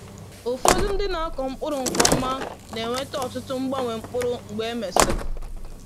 Ụfọdụ ndị na-akọ mkpụrụ nke ọma na-enweta um ọtụtụ mgbanwe mkpụrụ mgbe e mesịrị.